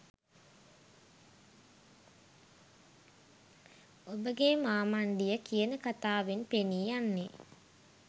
ඔබගේ මාමණ්ඩිය කියන කතාවෙන් පෙනී යන්නේ